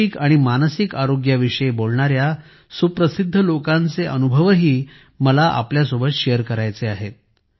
शारीरिक आणि मानसिक आरोग्याविषयी बोलणार्या सुप्रसिद्ध लोकांचे अनुभवही मला तुमच्यासोबत शेअर करायचे आहेत